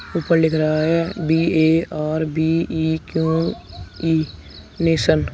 ऊपर लिख रहा है बी_ए_आर_बी_इ_क्यू_इ नेशन ।